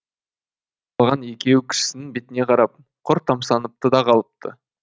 қалған екеуі кішісінің бетіне қарап құр тамсаныпты да қалыпты